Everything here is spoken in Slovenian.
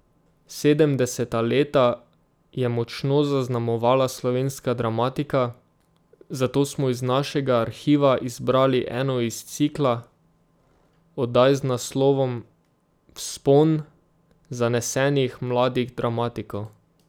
Sedemdeseta leta je močno zaznamovala slovenska dramatika, zato smo iz našega arhiva izbrali eno iz cikla oddaj z naslovom Vzpon zanesenih mladih dramatikov.